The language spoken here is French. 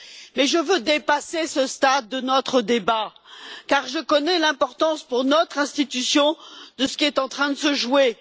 Mais je veux dépasser ce stade de notre débat car je connais l'importance pour notre institution de ce qui est en train de se jouer.